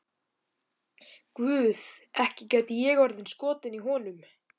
Guð, ekki gæti ég orðið skotin í honum.